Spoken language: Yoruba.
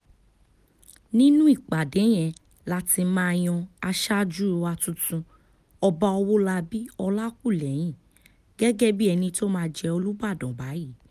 nínú ìpàdé yẹn la ti yan aṣáájú wa tuntun ọba ọwọ́labí ọlákúlẹ́hìn gẹ́gẹ́ bíi ẹni tó máa jẹ́ olùbàdàn báyìí